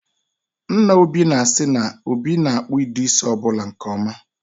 Nna Obi na-asị na, Obi na-akpụ ụdị isi ọbụla nke ọma